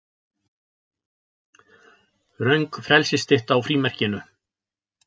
Röng frelsisstytta á frímerkinu